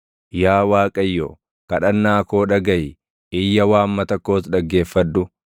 Yaa Waaqayyo, kadhannaa koo dhagaʼi; iyya waammata koos dhaggeeffadhu.